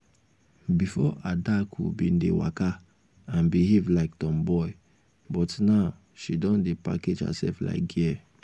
before adaku bin dey waka and behave like tomboy but now she don dey package herself like girl